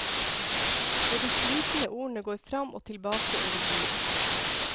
Og de slitne ordene går fram og tilbake over bordet.